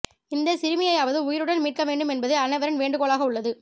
இந்த சிறுமியையாவது உயிருடன் மீட்க வேண்டும் என்பதே அனைவரின் வேண்டுகோளாக உள்ளது